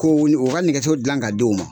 u ka nɛgɛso gilan ka di u ma.